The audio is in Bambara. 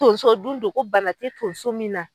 Tonso dun do ko bana te tonso min na